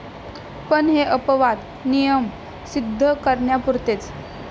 पण हे अपवाद नियम सिद्ध करण्यापुरतेच.